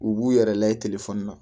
U b'u yɛrɛ layɛ na